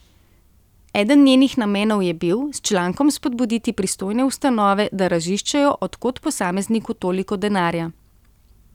Eden njenih namenov je bil, s člankom spodbuditi pristojne ustanove, da raziščejo od kod posamezniku toliko denarja.